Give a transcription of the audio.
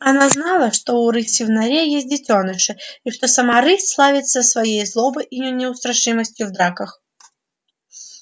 она знала что у рыси в норе есть детёныши и что сама рысь славится своей злобой и неустрашимостью в драках